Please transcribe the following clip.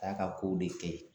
A ya ka kow de kɛ.